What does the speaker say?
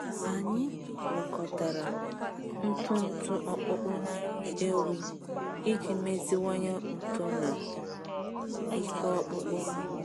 Anyị gwakọtara ntụ ntụ ọkpụkpụ na nri ewi iji meziwanye uto na ike ọkpụkpụ ha.